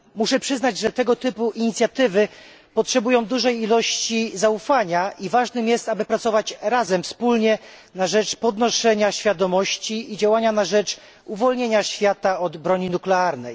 Muszę przyznać, że tego typu inicjatywy potrzebują dużej ilości zaufania i ważne jest, aby pracować razem, wspólnie na rzecz podnoszenia świadomości, i działać na rzecz uwolnienia świata od broni nuklearnej.